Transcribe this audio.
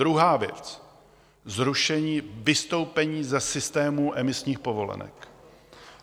Druhá věc: zrušení, vystoupení ze systému emisních povolenek.